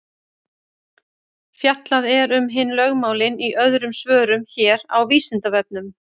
Fjallað er um hin lögmálin í öðrum svörum hér á Vísindavefnum.